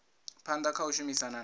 phanḓa kha u shumisana na